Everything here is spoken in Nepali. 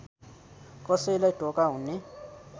कसैलाई धोका हुने